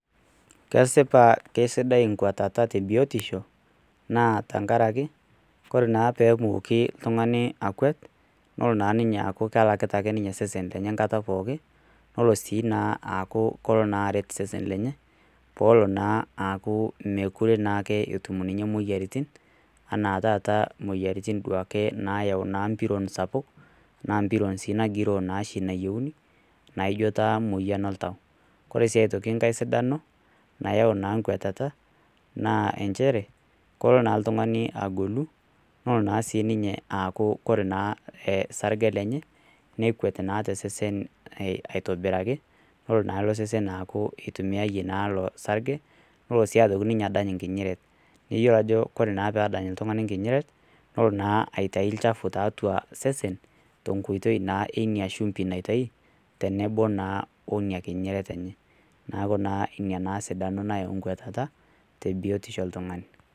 Kesipa kesidai nkwatata tebiotisho naa tenakaraki kore naa pemoki iltungani akwet nelo naa ninye aaku kelakita isesen lenye nkata pooki nelo naa aaku keret naa isesen lenye pelo naa aaku mekure etum ninye moyiaritin anaa taata moyiaritin nayau duake mpiron sapuk oshi nagiroo nas nayienu naijo taa moyian oltau . Kore siae toki nkae sidano nayau naa kwatata naa nchere kolo naa iltungani agolu nolo naasininye aaku kore naa sarge lenye nekwet naa tesesen aitobiraki nelo naa losesen aaku itumiate naa loosarge nolo naa aitoki ninye adany nkinyiret , neyiolo naa ajo kolo naa tenedal iltungani nkinyiret nolo naa aitai lchafu tiatua iseseni tonkoitoi naa iniashumbi naitai tenebo naa woniekinyiret enye naaku naa inanaa sidano nayau nkwuatata tebiotisho oltungani.